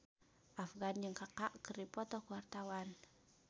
Afgan jeung Kaka keur dipoto ku wartawan